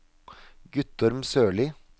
Guttorm Sørlie